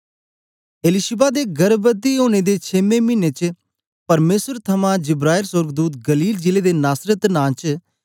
एलीशिबा दे गर्भवती होने दे छेमे मिने च परमेसर थमां जिब्राईल सोर्गदूत गलील जिले दे नासरत नां च